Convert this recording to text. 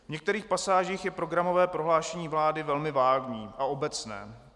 V některých pasážích je programové prohlášení vlády velmi vágní a obecné.